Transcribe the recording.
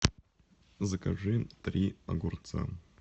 закажи три огурца